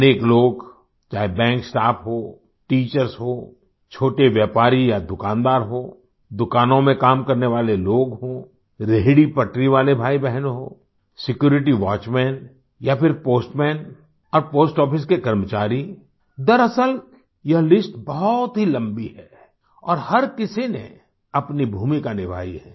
अनेक लोग चाहे बैंक स्टाफ हो टीचर्स हों छोटे व्यापारी या दुकानदार हों दुकानों में काम करने वाले लोग हों रेहड़ीपटरी वाले भाईबहन हों सिक्यूरिटी वॉचमैन या फिर पोस्टमैन और पोस्ट आफिस के कर्मचारी दरअसल यह लिस्ट बहुत ही लंबी है और हर किसी ने अपनी भूमिका निभाई है